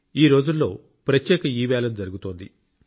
ఈ రోజుల్లో ప్రత్యేక ఈవేలం జరుగుతోంది